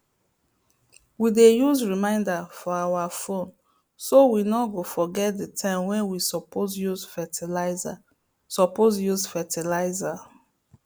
we dey use reminder for our phone so we no go forget the time wey we suppose use fertiliser suppose use fertiliser